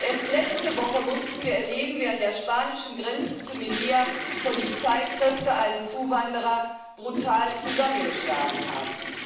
Erst letzte Woche mussten wir erleben, wie an der spanischen Grenze zu Melilla Polizeikräfte einen Zuwanderer brutal zusammengeschlagen haben.